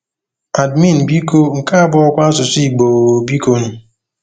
Ndien nso ke ikeme ndikpep ikeme ndikpep nto uwụtn̄kpọ esie?